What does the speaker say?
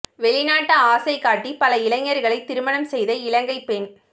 வெளிநாட்டு ஆசை காட்டி பல இளைஞர்களை திருமணம் செய்த இலங்கை பெண்